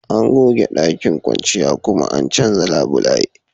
An goge ɗakin kwanciya kuma an canza labulaye